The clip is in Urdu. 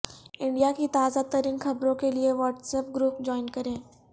انڈیا کی تازہ ترین خبروں کیلئے واٹس ایپ گروپ جوائن کریں